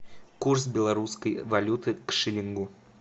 курс белорусской валюты к шиллингу